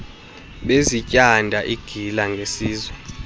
bezityanda igila ngesizwe